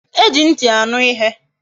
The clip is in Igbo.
E ji nti aṅụ ihe